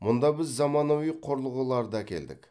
мұнда біз заманауи құрылғыларды әкелдік